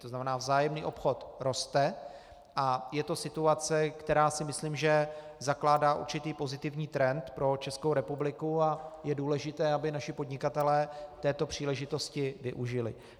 To znamená, vzájemný obchod roste a je to situace, která si myslím, že zakládá určitý pozitivní trend pro Českou republiku, a je důležité, aby naši podnikatelé této příležitosti využili.